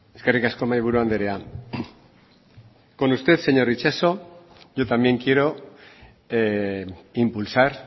eskerrik asko mahaiburu andrea con usted señor itxaso yo también quiero impulsar